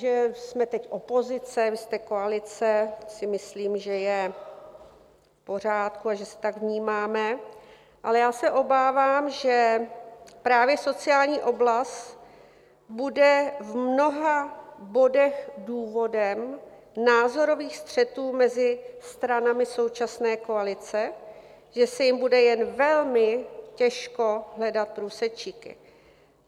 Že jsme teď opozice, vy jste koalice, si myslím, že je v pořádku a že se tak vnímáme, ale já se obávám, že právě sociální oblast bude v mnoha bodech důvodem názorových střetů mezi stranami současné koalice, že se jim bude jen velmi těžko hledat průsečíky.